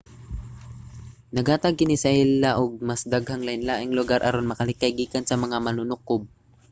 naghatag kini sa ila og mas daghang lainlaing lugar aron makalikay gikan sa mga manunukob